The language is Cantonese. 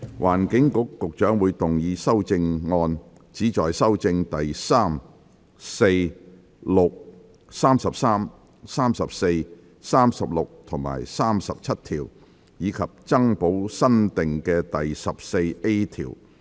環境局局長會動議修正案，旨在修正第3、4、6、33、34、36及37條，以及增補新訂的第 14A 條。